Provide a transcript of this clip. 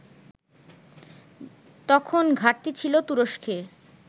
তখন ঘাটতি ছিল তুরস্কে